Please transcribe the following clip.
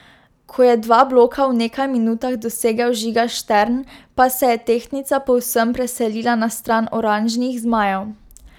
Ko je dva bloka v nekaj minutah dosegel Žiga Štern, pa se je tehtnica povsem preselila na stran oranžnih zmajev.